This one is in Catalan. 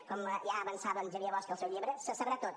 com ja avançava en xavier bosch al seu llibre se sabrà tot